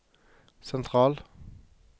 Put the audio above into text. sentral